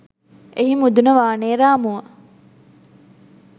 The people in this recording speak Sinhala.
එහි මුදුන වානේ රාමුව